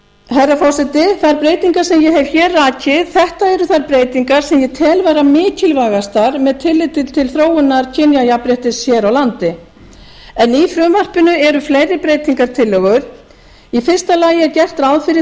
herra forseti þær breytingar sem ég hef hér rakið þetta eru þær breytingar sem ég tel vera mikilvægastar með tilliti til þróunar kynjajafnréttis hér á landi en í frumvarpinu eru fleiri breytingartillögur í fyrsta lagi er gert ráð fyrir